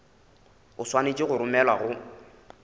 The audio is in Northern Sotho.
o swanetše go romelwa go